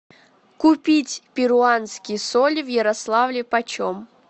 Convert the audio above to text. купить перуанские соли в ярославле почем